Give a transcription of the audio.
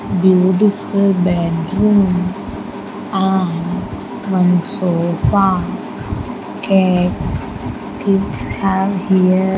beautiful bedroom and one sofa gets kids have here --